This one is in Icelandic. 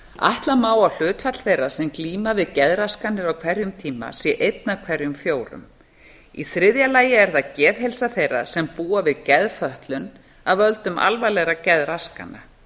ætla má að hlutfall þeirra sem glíma við geðraskanir á hverjum tíma sé eitt af hverjum fjórða í þriðja lagi er það geðheilsa þeirra sem búa við geðfötlun af völdum alvarlegra geðraskana